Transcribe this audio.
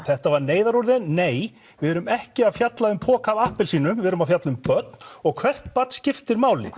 þetta var neyðarúrræði nei við erum ekki að fjalla um poka af appelsínum við erum að fjalla um börn og hvert barn skiptir máli